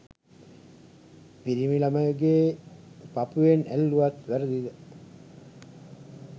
පිරිමි ලමයකුගේ පපුවෙන් ඇල්ලුවත් වැරදිද?